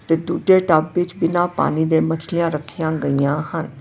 ਤੇ ਦੂਜੇ ਟੱਬ ਵਿੱਚ ਬਿਨਾਂ ਪਾਣੀ ਦੇ ਮੱਛਲੀਆਂ ਰੱਖੀਆਂ ਗਈਆਂ ਹਨ।